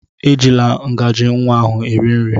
Ejila ngaji nwa ọhụụ eri nri!